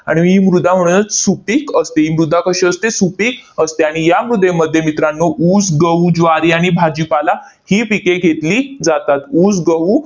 आणि ही मृदा म्हणूनच सुपीक असते, ही मृदा कशी असते? सुपीक असते. आणि या मृदेमध्ये मित्रांनो, ऊस, गहू, ज्वारी आणि भाजीपाला ही पिके घेतली जातात. ऊस, गहू,